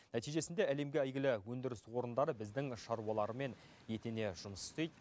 нәтижесінде әлемге әйгілі өндіріс орындары біздің шаруалармен етене жұмыс істейді